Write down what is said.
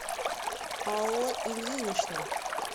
алла ильинична